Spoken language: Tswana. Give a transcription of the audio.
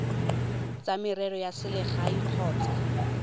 tsa merero ya selegae kgotsa